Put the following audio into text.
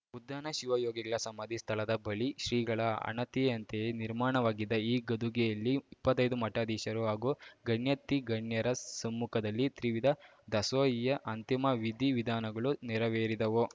ಉದ್ದಾನ ಶಿವಯೋಗಿಗಳ ಸಮಾಧಿ ಸ್ಥಳದ ಬಳಿ ಶ್ರೀಗಳ ಅಣತಿಯಂತೆಯೇ ನಿರ್ಮಾಣವಾಗಿದ್ದ ಈ ಗದ್ದುಗೆಯಲ್ಲಿ ಇಪ್ಪತ್ತೈದು ಮಠಾಧೀಶರು ಹಾಗೂ ಗಣ್ಯಾತಿಗಣ್ಯರ ಸಮ್ಮುಖದಲ್ಲಿ ತ್ರಿವಿಧ ದಾಸೋಹಿಯ ಅಂತಿಮ ವಿಧಿ ವಿಧಾನಗಳು ನೆರವೇರಿದವು